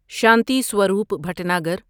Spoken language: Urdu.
شانتی سوروپ بھٹناگر